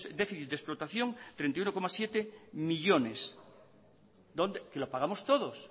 de déficit de explotación treinta y uno coma siete millónes que lo pagamos todos